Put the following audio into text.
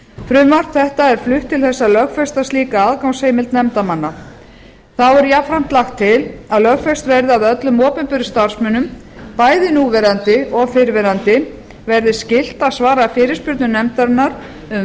frumvarp þetta er flutt til þess að lögfesta slíka aðgangsheimild nefndarmanna þá er jafnframt lagt til að lögfest verði að öllum opinberum starfsmönnum bæði núverandi og fyrrverandi verði skylt að svara fyrirspurnum nefndarinnar um